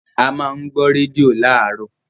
a má n gbọ́ rédíò láàárọ̀.